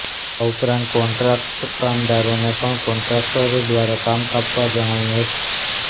આ ઉપરાંત કોન્ટ્રાક્ટ કામદારોને પણ કોન્ટ્રાકટરો દ્વારા કામ કાપવા જણાવ્યું હતું